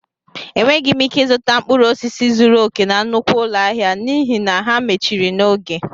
Enweghị m ike zụta mkpụrụ osisi zuru oke na nnukwu ụlọ ahịa n'ihi na ha mechiri n'oge